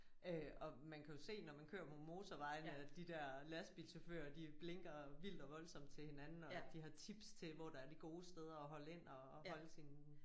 Øh og man kan jo se når man kører på motorvejene at de der lastbilchauffører de blinker vildt og voldsomt til hinanden og de har tips til hvor der er de gode steder at holde ind og holde sin